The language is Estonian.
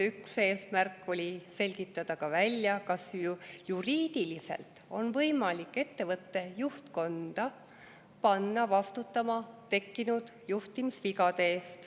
Üks eesmärk on selgitada välja, kas juriidiliselt on võimalik ettevõtte juhtkonda panna vastutama tekkinud juhtimisvigade eest.